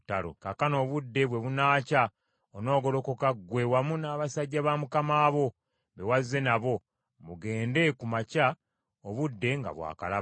Kaakano obudde bwe bunaakya onoogolokoka ggwe wamu n’abasajja ba mukama wo, be wazze nabo, mugende ku makya obudde nga bwakalaba.”